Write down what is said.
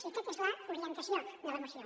i aquesta és l’orientació de la moció